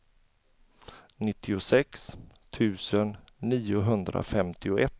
nittiosex tusen niohundrafemtioett